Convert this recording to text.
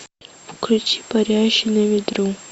включи парящий на ветру